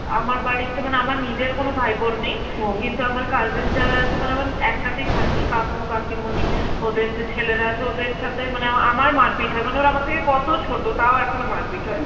আমার বাড়িতে মানে আমার নিজের কোন ভাই বোন নেই, কিন্তু আমার cousin যারা আছে মানে আমার একসাথেই থাকি, কাকু কাকিমুনি, ওদের যে ছেলেরা আছে, ওদের সাথে মানে আমার~ আমার মারপিট হয় মানে ওরা আমার থেকে কত ছোট তাও এখনো মারপিট হয়.